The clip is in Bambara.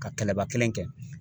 Ka kɛlɛba kelen kɛ.